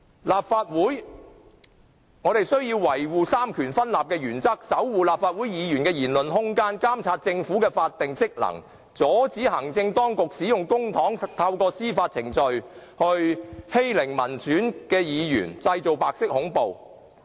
立法會需要維護三權分立的原則，守護立法會議員的言論空間，監察政府的法定職能，阻止行政當局使用公帑，透過司法程序來欺凌民選議員，製造白色恐怖。